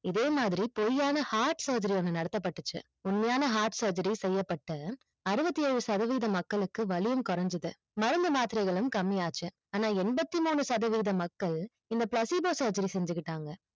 இதையே மாதிரி பொய்யான heart surgery ஒன்னு நடத்தப்படுச்சு உண்மையான heart surgery செய்யபட்ட அறுவதி ஏழு சதவீதம் மக்களுக்கு வலியும் கொறைஞ்சிது மருந்து மாத்திரைகளும் கம்மியாச்சு ஆன எண்பத்தி மூணு சதவீதம் மக்கள் இந்த placebo surgery செஞ்சுட்டுத்தாங்க